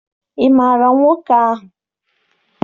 Ị maara nwoke ahụ?